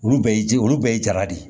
Olu bɛɛ ye ji olu bɛɛ ye jala de ye